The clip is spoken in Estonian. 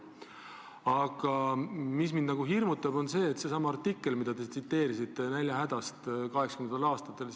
Aga mind nagu hirmutab see jutt tollest artiklist, millest te rääkisite – näljahädast kaheksakümnendatel aastatel.